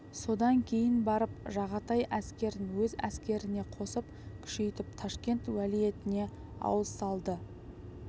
содан кейін барып жағатай әскерін өз әскеріне қосып күшейтіп ташкент уәлиетіне ауыз салды